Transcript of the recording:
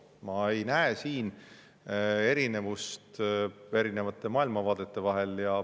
Ma ei näe siin erinevust eri maailmavaadete vahel.